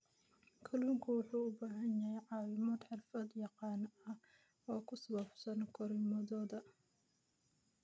Kalluunku wuxuu u baahan yahay caawimo xirfad-yaqaan ah oo ku saabsan korriimadooda.